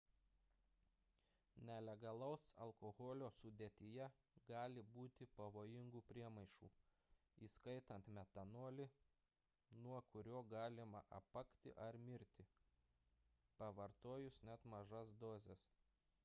nelegalaus alkoholio sudėtyje gali būti pavojingų priemaišų įskaitant metanolį nuo kurio galima apakti ar mirti pavartojus net mažas dozes